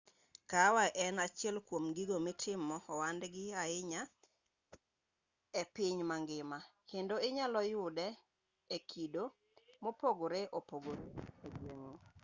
kahawa en achiel kuom gigo mitimo ohandgi ahinya e piny mangima kendo inyalo yude e kido mopogore opogore e gweng'u